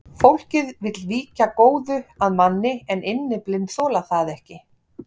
Fólkið vill víkja góðu að manni en innyflin þola það ekki.